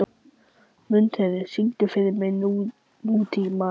Mundheiður, syngdu fyrir mig „Nútímamaður“.